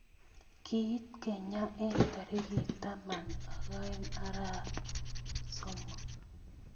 Kiit kenya eng torikit tamanak oeng arap somok